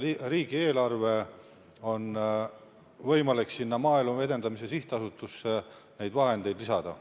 Riigieelarvest on võimalik Maaelu Edendamise Sihtasutusele neid vahendeid lisada.